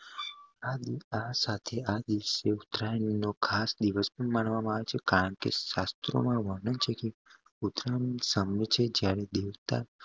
આ સાથે આ દિવસે ઉતરાયણ નો ખઆસ દિવસ માનવામાં આવે છે કારણકે શાસ્ત્રો માં વરણ છે કે ઉતરાયણ ની